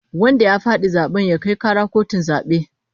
Wanda ya fadi zaben ya kai kara kotun zabe